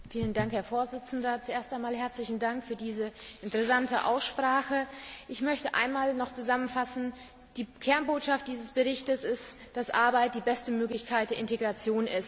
Herr Präsident! Zuerst einmal herzlichen Dank für diese interessante Aussprache! Ich möchte noch einmal zusammenfassen Die Kernbotschaft dieses Berichtes ist, dass Arbeit die beste Möglichkeit der Integration ist.